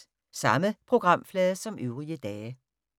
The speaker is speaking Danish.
Samme programflade som øvrige dage